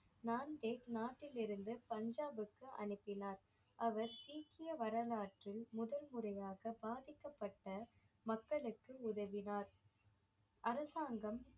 நாட்டிலிருந்து பஞ்சாப்புக்கு அனுப்பினார் அவர் சீக்கிய வரலாற்றில் முதல் முறையாக பாதிக்கப்பட்ட மக்களுக்கு உதவினார் அரசாங்கம்